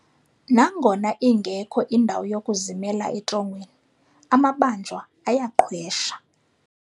Nangona ingekho indawo yokuzimela etrongweni, amabanjwa ayaqhwesha.